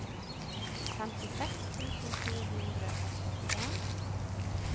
femtiseks tusen to hundre og syttien